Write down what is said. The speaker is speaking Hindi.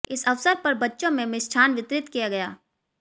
इस अवसर पर बच्चों में मिष्ठान वितरित किया गया